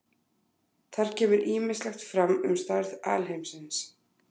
Þar kemur ýmislegt fram um stærð alheimsins.